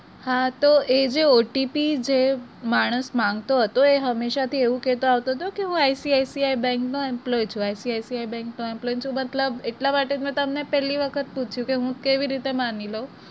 હા તો એ જે OTP જે માણસ માંગતો હતો તે હસેશા થી કેતો આવતો હતો કે હું ICICI bank નો employee છું ICICI bank નો employee જો મતલબ એટલા માટે તો મેં તમને મેં પેલી વખત પુછ્યું કે હું કેવી રીતે માની લવ?